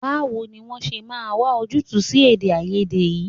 Báwo ni a ṣe máa wà ojútùú sí èdèàìyedè yìí?